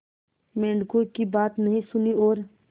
मेंढकों की बात नहीं सुनी और